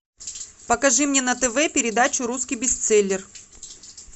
покажи мне на тв передачу русский бестселлер